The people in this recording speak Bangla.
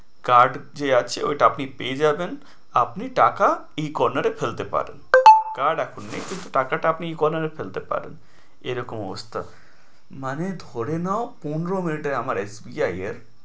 Card যে আছে ওইটা আপনি পেয়ে যাবেন আপনি টাকা এই corner এ ফেলতে পারেন card এখন নেই কিন্তু আপনি টাকাটা আপনি এই corner এ ফেলতে পারেন এরকম অবস্থা মানে ধরে নাও পনেরো minute এ আমার SBI এর